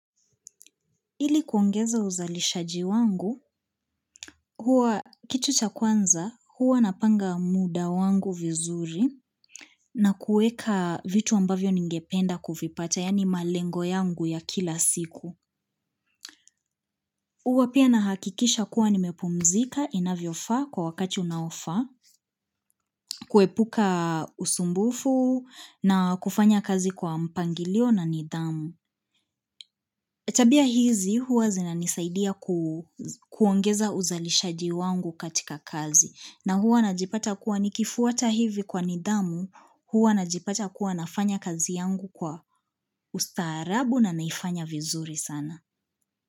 Ili kuongeza uzalishaji wangu, huwa kitu cha kwanza, huwa napanga muda wangu vizuri na kueka vitu ambavyo ningependa kuvipata, yaani malengo yangu ya kila siku. Huwa pia nahakikisha kuwa nimepumzika inavyofaa kwa wakati unaofaa, kuepuka usumbufu na kufanya kazi kwa mpangilio na nidhamu. Tabia hizi huwa zinanisaidia kuongeza uzalishaji wangu katika kazi na huwa najipata kuwa nikifuata hivi kwa nidhamu huwa najipata kuwa nafanya kazi yangu kwa ustaarabu na naifanya vizuri sana.